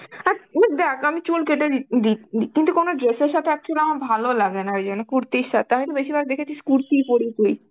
আর তুই দেখ আমি চুল কেটে দি~ দি কিন্তু কোন dress এর সাথে actually আমার ভালো লাগেনা ওই জন্য কুর্তি সাথে আমি তো বেশিরভাগ দেখেছিস কুর্তিই পড়ি